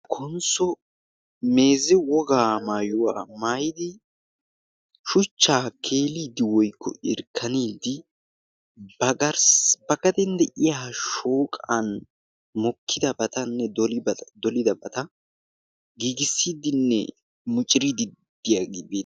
konsso meeze wogaa maayuwaa maayidi shuchchaa keeliiddi woykko irkkaniiddi ba garssa gaden de'iya ha shooqan mokkidabatanne dolidabata giigissiiddinne muciriidid diyaagee bee